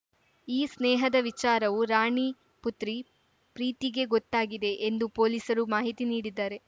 ಈ ಸ್ನೇಹದ ವಿಚಾರವು ರಾಣಿ ಪುತ್ರಿ ಪ್ರೀತಿಗೆ ಗೊತ್ತಾಗಿದೆ ಎಂದು ಪೊಲೀಸರು ಮಾಹಿತಿ ನೀಡಿದ್ದಾರೆ